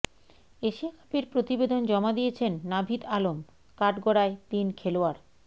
Asia কাপের প্রতিবেদন জমা দিয়েছেন নাভিদ আলম কাঠগড়ায় তিন খেলোয়াড়